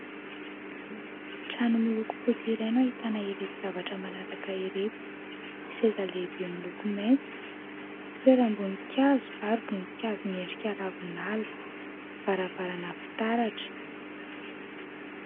Trano miloko fotsy iray no ahitana ireto zavatra manaraka ireto : seza lehibe miloko maitso, fitoeram-boninkazo ary voninkazo miendrika ravinala, varavarana fitaratra.